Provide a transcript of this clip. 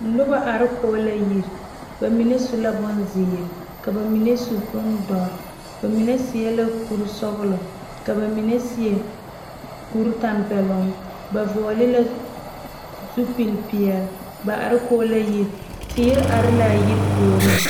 Noba are kɔŋ la yiri bamine su la bonziiri ka bamine su bondoɔre bamine seɛ la kuri sɔglɔ ka bamine seɛ kuri tanpɛloŋ ba vɔgle la zupele peɛle ba are kɔŋ la yiri teere are la a yiri puori.